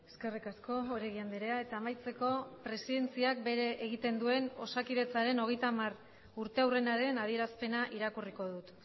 eskerrik asko oregi andrea eta amaitzeko presidentziak bere egiten duen osakidetzaren hogeita hamar urteurrenaren adierazpena irakurriko dut